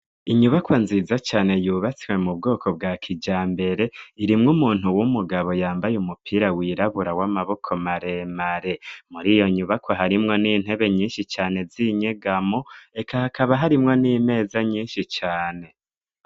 Inyubakwa nziza cane yubatswe mu bwoko bwa kijambere irimwo umuntu w'umugabo yambaye umupira wirabura w'amaboko maremare muri iyo nyubakwa harimwo n'intebe nyinshi cane z'inyegamo reka hakaba harimwo n'imeza nyinshi cane.